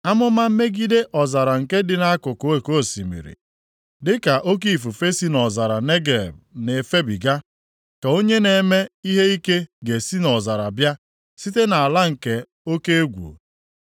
Amụma megide ọzara nke dị nʼakụkụ oke osimiri: Dịka oke ifufe si nʼọzara Negeb na-efebiga, ka onye na-eme ihe ike ga-esi nʼọzara bịa, site nʼala nke oke egwu.